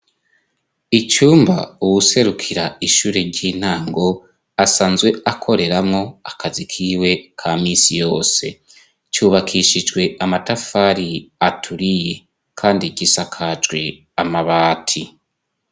Icumba uwuserukira ishure ry'inango asanzwe akoreramwo akazi kiwe ka misi yose cubakishijwe amatafari aturiye, kandi gisa kajwe amabati.